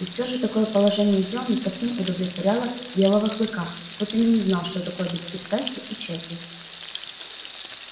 и всё же такое положение дел не совсем удовлетворяло белого клыка хоть он и не знал что такое беспристрастие и честность